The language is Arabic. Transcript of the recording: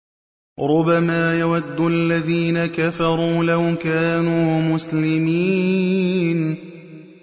رُّبَمَا يَوَدُّ الَّذِينَ كَفَرُوا لَوْ كَانُوا مُسْلِمِينَ